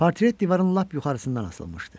Portret divarın lap yuxarısından asılmışdı.